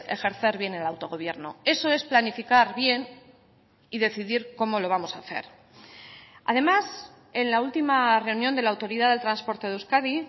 ejercer bien el autogobierno eso es planificar bien y decidir cómo lo vamos a hacer además en la última reunión de la autoridad del transporte de euskadi